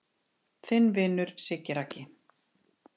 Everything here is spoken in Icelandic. Þinn vinur Siggi Raggi